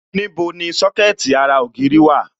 Níbo ni Sọ́kẹ̀tì ara ògiri dà?